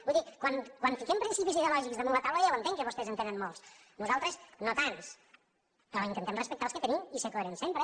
vull dir quan fiquem principis ideològics damunt la taula jo ja ho entenc que vostès en tenen molts nosaltres no tants però intentem respectar els que tenim i ser coherents sempre